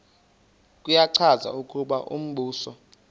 kuyacaca ukuba umbuso